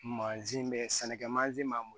Mansin bɛ sɛnɛkɛ mansin man